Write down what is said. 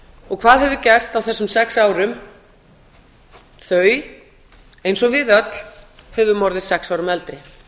hvað hefur gerst á þessum sex árum þau eins og við öll höfum orðið sex árum eldri